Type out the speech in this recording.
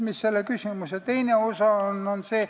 Sellel küsimusel on ka teine osa.